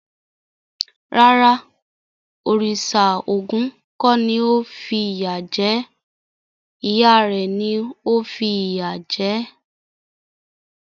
Rárá, òrìṣà Ògún kò ni ó fìyà jẹ ẹ́. Ìyá rẹ̀ ni ó fìyà jẹ̀ ẹ́.